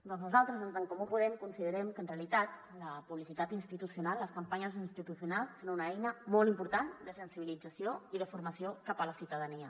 doncs nosaltres des d’en comú podem considerem que en realitat la publicitat institucional les campanyes institucionals són una eina molt important de sensibilització i de formació cap a la ciutadania